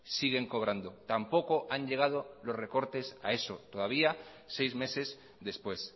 siguen cobrando tampoco han llegado los recortes a eso todavía seis meses después